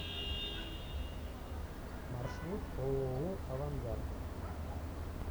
маршрут ооо авангард